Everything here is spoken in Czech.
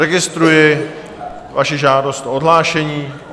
Registruji vaši žádost o odhlášení.